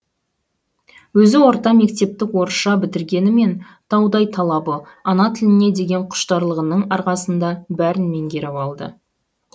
өзі орта мектепті орысша бітіргенімен таудай талабы ана тіліне деген құштарлығының арқасында бәрін меңгеріп алды